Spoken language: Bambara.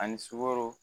Ani sukaro